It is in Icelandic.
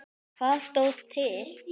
Hvað stóð til?